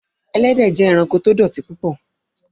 Ẹlẹ́dẹ jẹ́ ẹ̀ránkò tó dọ̀tí púpọ̀